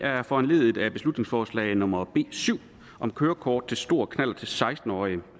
her er foranlediget af beslutningsforslag nummer b syv om kørekort til stor knallert til seksten årige